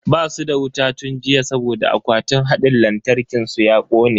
Basu da wuta tun jiya saboda akwatin hadin lantarkin su ya kone.